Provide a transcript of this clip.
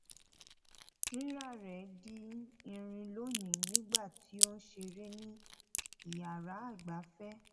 rírá rẹ di irin lónìí nígbà tí ó ń ṣeré ní yàrá ìgbáfẹ